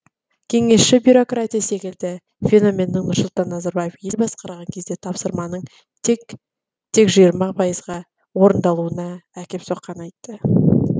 кеңесші бюрократия секілді феноменнің нұрсұлтан назарбаев ел басқарған кезде тапсырманың тек тек жиырма пайызға орындалуына әкеп соққанын айтты